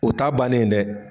O ta bane ye dɛ.